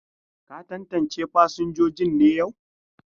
Ka tantance fasinjojin ne yau?